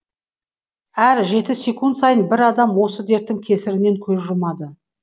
әр жеті секунд сайын бір адам осы дерттің кесірінен көз жұмады